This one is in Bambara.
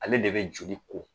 Ale de be joli ko